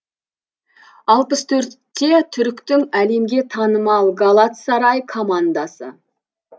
алпыс төртте түріктің әлемге танымал галатсарай командасы